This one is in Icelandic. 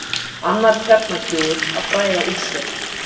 Annar kjarnakljúfur að bræða úr sér